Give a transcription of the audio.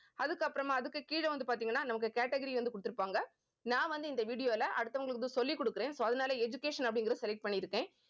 அதுக்கப்புறமா அதுக்கு கீழே வந்து பார்த்தீங்கன்னா நமக்கு category வந்து கொடுத்திருப்பாங்க. நான் வந்து இந்த video ல அடுத்தவங்களுக்கு சொல்லி கொடுக்கிறேன் so அதனால education அப்படிங்கிறதை select பண்ணிருக்கேன்